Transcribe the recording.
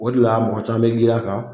O de la mɔgɔ caman be girin a kan